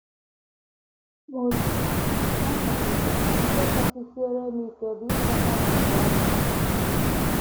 Timothy: Ná mmalite, ihe kasị siere m ike bụ ikweta na ahụ́ adịghị m.